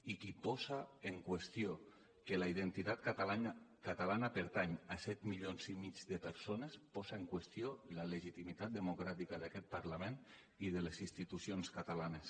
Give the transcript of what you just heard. i qui posa en qüestió que la identitat catalana pertany a set milions i mig de persones posa en qüestió la legitimitat democràtica d’aquest parlament i de les institucions catalanes